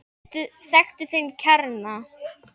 Þekktu þinn kjarna!